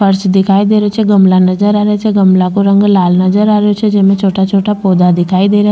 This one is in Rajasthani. फर्श दिखाई दे रहियो छे गमला नजर आ रिया छे गमला का रंग लाल नजर आ रियो छे जेमे छोटा छोटा पौधा दिखाई दे रिया --